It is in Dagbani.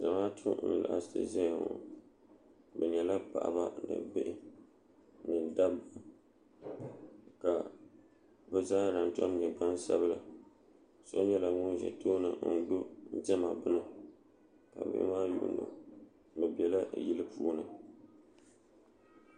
zamaatu n laɣasi ʒɛya ŋo bi nyɛla paɣaba ni bihi ni dabba ka bi zaaha tom nyɛ gbansabila so nyɛla ŋun ʒɛ tooni n gbubi diɛma bini ka bihi maa yuundi o o biɛla yili puuni